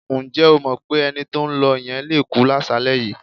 Ǹjẹ́ o mọ̀ pé ẹni tó ń lọ yẹn le kú láṣàálẹ́ yìí?